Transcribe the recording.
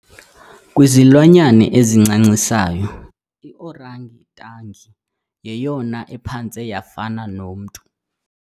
Kwizilwanyana ezincancisayo i-orangitangi yeyona ephantse yafana nomntu.